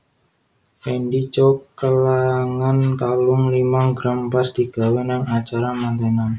Fendy Chow kelangan kalung limang gram pas digawe nang acara mantenan